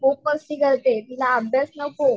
खूप मस्ती करते तिला अभ्यास नको.